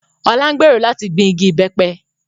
Ọlá ń gbèrò láti gbìn igi ìbẹ́pẹ